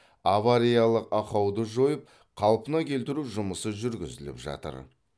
авариялық ақауды жойып қалпына келтіру жұмысы жүргізіліп жатыр